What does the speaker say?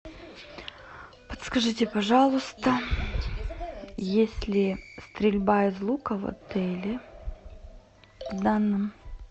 подскажите пожалуйста есть ли стрельба из лука в отеле в данном